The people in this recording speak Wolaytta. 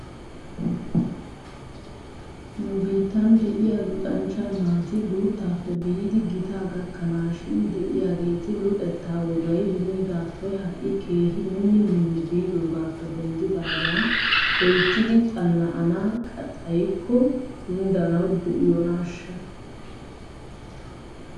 Nu biittan de'iyaa luxanchcha naati guuttaappe biidi gitaa gakanaashin de'iyaageeti luxettaa wogay beniigaappe ha'i keehi minni minni biidoogaappe denddidaaga loyttidi xana'ana xayikko kunddanaw diyoonaashsha?